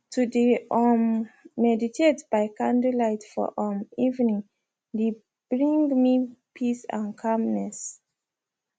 to de um meditate by candlelight for um evening de bring me peace and calmness